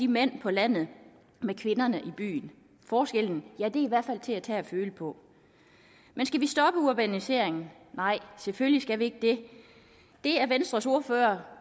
mændene på landet med kvinderne i byerne forskellen er i hvert fald til at tage og føle på men skal vi stoppe urbaniseringen nej selvfølgelig ikke det er venstres ordfører